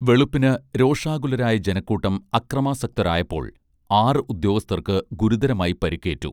വെളുപ്പിന് രോഷാകുലരായ ജനക്കൂട്ടം ആക്രമാസക്തരായപ്പോൾ ആറു ഉദ്യോഗസ്ഥർക്ക് ഗുരുതരമായി പരുക്കേറ്റു